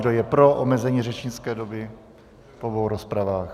Kdo je pro omezení řečnické doby v obou rozpravách?